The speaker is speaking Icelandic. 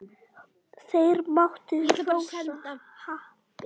Þeir máttu hrósa happi.